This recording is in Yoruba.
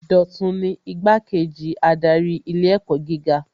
Dọ̀tun ni Igbá-kejì adarí ilé ẹ̀kọ́ gíga